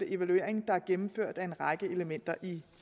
evaluering der er gennemført af en række elementer i